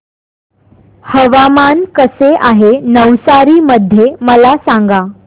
हवामान कसे आहे नवसारी मध्ये मला सांगा